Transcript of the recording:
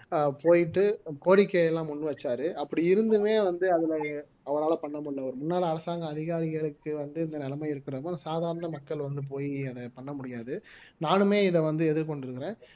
ஆஹ் போயிட்டு கோரிக்கை எல்லாம் முன் வச்சாரு அப்படி இருந்துமே வந்து அதுல அவரால பண்ண முடியலை ஒரு முன்னாள் அரசாங்க அதிகாரிகளுக்கு வந்து இந்த நிலைமை இருக்கறப்ப சாதாரண மக்கள் வந்து போயி அதை பண்ண முடியாது நானுமே இதை வந்து எதிர்கொண்டிருக்கிறேன்